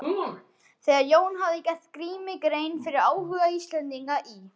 Þegar Jón hafði gert Grími grein fyrir áhuga Íslendinga í